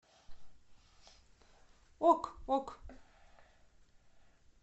ок ок